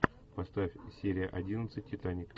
поставь серия одиннадцать титаник